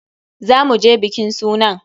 Za mu je bikin sunan.